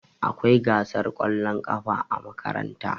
Akwai gasar kwallon ƙafa a makaranta.